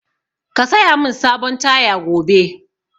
Ka saya mun sabon taya gobe!